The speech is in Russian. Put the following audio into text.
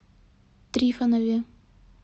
трифонове